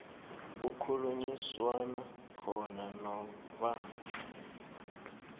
kukhulunyiswana khona noba